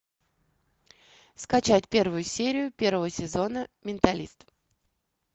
скачать первую серию первого сезона менталист